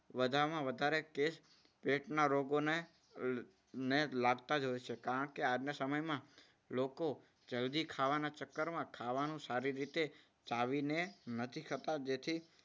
વધારેમાં વધારે કેસ પેટના રોગોને ને લગતા જ હોય છે. કારણ કે આજના સમયમાં લોકો જલ્દી ખાવાના ચક્કરમાં ખાવાનું સારી રીતે ચાવીને નથી ખાતા. જેથી